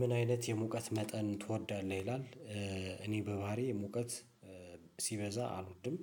ምን አይነት የሙቀት መጠን ትወዳለህ? ይላል እኔ በባህሪዬ ሙቀት ሲበዛ አልወድም